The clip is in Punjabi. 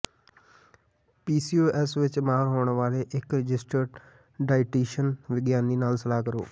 ਪੀਸੀਓਐਸ ਵਿੱਚ ਮਾਹਰ ਹੋਣ ਵਾਲੇ ਇੱਕ ਰਜਿਸਟਰਡ ਡਾਇਟੀਸ਼ੀਅਨ ਵਿਗਿਆਨੀ ਨਾਲ ਸਲਾਹ ਕਰੋ